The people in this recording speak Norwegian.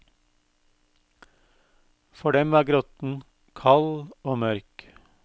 For dem var grotten kald og mørk.